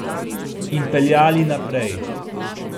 In peljali naprej.